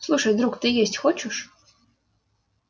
слушай друг ты есть хочешь